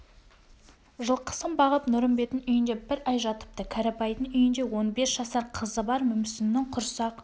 жылқысын бағып нұрымбеттің үйінде бір ай жатыпты кәрібайдың үйінде он бес жасар қызы бар мүмсіннің құрсақ